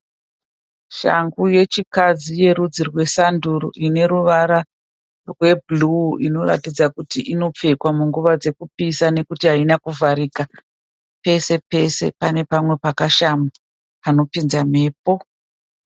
Shangu yechikadzi yerudzi rwesanduru ineruvara rwebhuru inoratidza kuti inopfekwa munguva yekupisanokuti Haina kuvharika pesepese pane pamwe pakashama panopinza mhepo.